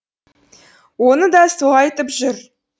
оны да сол айтып жүр